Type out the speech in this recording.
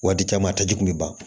Waati caman a taji kun bɛ ban